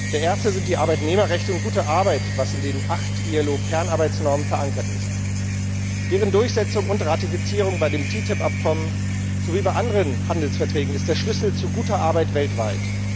Der Erste sind die Arbeitnehmerrechte und gute Arbeit, was in den acht IAO Kernarbeitsnormen verankert ist. Deren Durchsetzung und Ratifizierung bei dem TTIP Abkommen sowie bei anderen Handelsverträgen ist der Schlüssel zu guter Arbeit weltweit.